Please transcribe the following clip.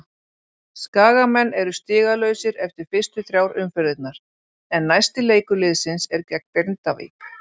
Skagamenn eru stigalausir eftir fyrstu þrjár umferðirnar en næsti leikur liðsins er gegn Grindavík.